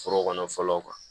Foro kɔnɔ fɔlɔ kuwa